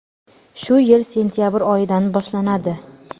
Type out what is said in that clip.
shu yil sentyabr oyidan boshlanadi.